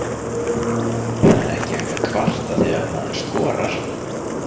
Það er ekki hægt að kvarta þegar maður skorar?